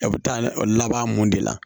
A bɛ taa o laban mun de la